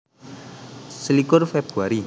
Selikur Februari